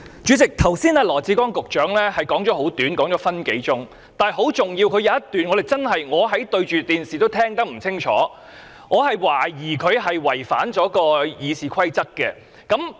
主席，羅致光局長剛才的發言十分短，只有1分多鐘，但當中有一段十分重要，我看着電視也聽不清楚，我懷疑他是違反《議事規則》的。